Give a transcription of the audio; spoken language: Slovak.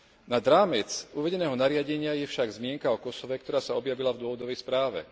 Nad rámec uvedeného nariadenia je však zmienka o Kosove, ktorá sa objavila v dôvodovej správe.